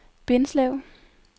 Bindslev